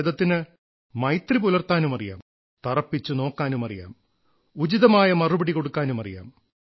ഭാരതത്തിന് മൈത്രി പുലർത്താനുമറിയാം തറപ്പിച്ചു നോക്കാനുമറിയാം ഉചിതമായ മറുപടി കൊടുക്കാനുമറിയാം